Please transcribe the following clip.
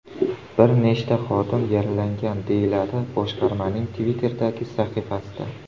Bir nechta xodim yaralangan”, deyiladi boshqarmaning Twitter’dagi sahifasida.